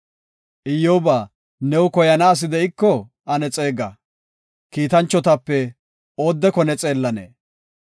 “Iyyoba, new koyana asi de7iko ane xeega! Kiitanchotape oodeko ne xeellanee?”